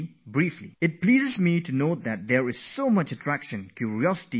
It's nice to hear that so much attraction has grown for Yoga, so much curiosity has developed for Yoga